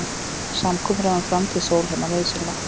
Samkomulag um framtíð Sólheima nauðsynlegt